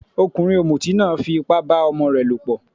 Ọkùnrin ọ̀mùtí náà fí ipá bá ọmọ rẹ lọ̀pọ̀.